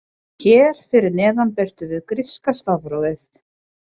Hér fyrir neðan birtum við gríska stafrófið.